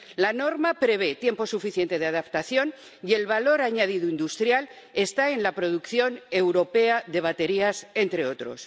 La norma prevé tiempo suficiente de adaptación, y el valor añadido industrial está en la producción europea de baterías, entre otros.